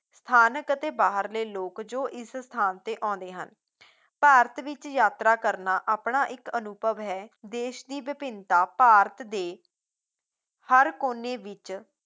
ਸਥਾਨਕ ਅਤੇ ਬਾਹਰਲੇ ਲੋਕ ਜੋ ਇਸ ਸਥਾਨ ਤੇ ਆਉਂਦੇ ਹਨ ਭਾਰਤ ਵਿੱਚ ਯਾਤਰਾ ਕਰਨਾ ਆਪਣਾ ਇੱਕ ਅਨੁਭਵ ਹੈ, ਦੇਸ਼ ਦੀ ਵਿਭਿੰਨਤਾ ਭਾਰਤ ਦੇ ਹਰ ਕੋਨੇ ਵਿੱਚ